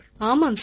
ஆமாம் சார்